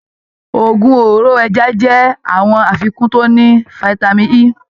Òògùn òróró ẹja jẹ àwọn àfikún to ní fitami E